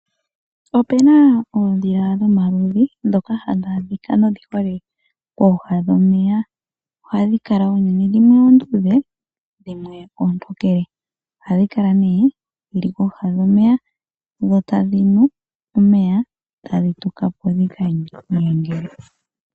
Opena oondhila dhomaludhi ndhoka hadhi adhika nodhi hole kooha dhomeya. Ohadhi kala unene dhimwe oonduudhe himwe oontokele. Ohadhi kala nee dhili kooha dhomeya dho tadhi nu omeya etadhi tuka po dhika nyange.